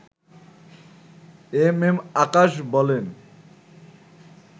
M M Akash বলেন